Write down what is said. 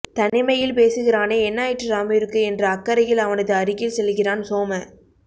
தனிமையில் பேசுகிறானே என்னாயிற்று ராமுவிற்கு என்ற அக்கறையில் அவனது அருகில் செல்கிறான் சோம